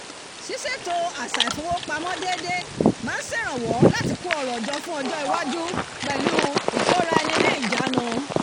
ṣíṣètò àṣà ifowópamọ́ déédé máa ń ṣèrànwọ́ láti kó ọrọ̀ jọ fún ọjọ́ ọjọ́ iwájú pẹ̀lú ìkóraẹniníjàánu